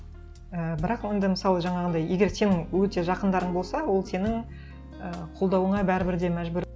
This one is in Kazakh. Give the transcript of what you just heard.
і бірақ енді мысалы жаңағындай егер сенің өте жақындарың болса ол сенің ііі қолдауыңа бәрібір де мәжбүр